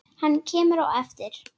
Hann kemur á eftir.